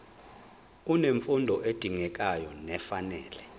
unemfundo edingekayo nefanele